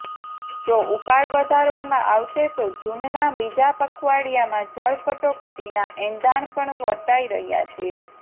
જો ઉપાડ વધારવામાં આવશે તો જુનના બીજા પખવાડિયામાં જળ કટોકટીના એંધાણ પણ વર્તાય રહ્યા છે